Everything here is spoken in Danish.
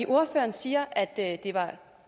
ordføreren siger at det var herre